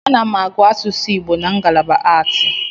Ana m agụ asusu Igbo na ngalaba aatị.